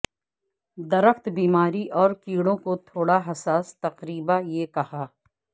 درخت بیماری اور کیڑوں کو تھوڑا حساس تقریبا یہ کھا